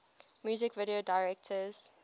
music video directors